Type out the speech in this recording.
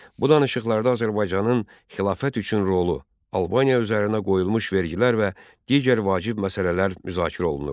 Bu danışıqlarda Azərbaycanın xilafət üçün rolu, Albaniya üzərinə qoyulmuş vergilər və digər vacib məsələlər müzakirə olunurdu.